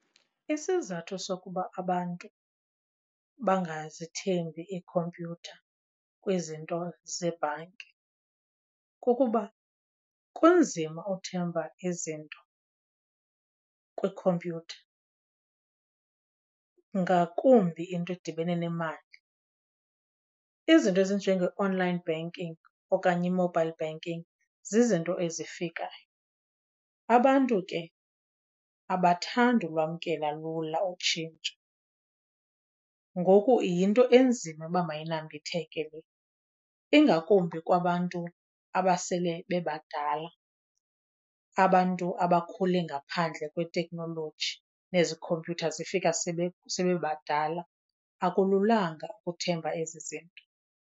Isizathu sokuba abantu bangazithembi iikhompyutha kwizinto zebhanki kukuba kunzima uthemba izinto kwikhompyutha, ngakumbi into edibene nemali. Izinto ezinjenge-online banking okanye i-mobile banking zizinto ezifikayo. Abantu ke abathandi ulwamkela lula utshintsho, ngoku yinto enzima uba mayinsmbitheke le. Ingakumbi kwabantu abasele bebadala, abantu abakhule ngaphandle kweteknoloji nezi khompyutha zifika sebebadala, akululanga ukuthemba ezi zinto.